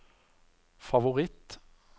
favoritt